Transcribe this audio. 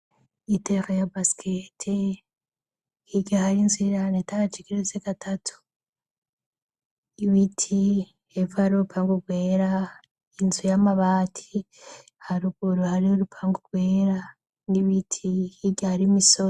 Itere ya basikete hirya hari inzu ya etaje igeretse gatatu, ibiti hepfo hari urupango rwera, inzu y'amabati haruguru hari urupango rwera n'ibiti hirya hari imisozi.